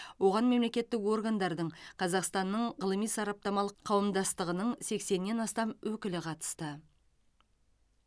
оған мемлекеттік органдардың қазақстанның ғылыми сараптамалық қауымдастығының сексеннен астам өкілі қатысты